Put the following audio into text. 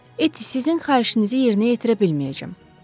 Etti, sizin xahişinizi yerinə yetirə bilməyəcəm.